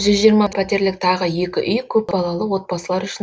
жүз жиырма пәтерлік тағы екі үй көпбалалы отбасылар үшін